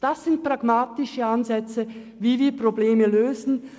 Das sind pragmatische Ansätze, wie wir Probleme lösen.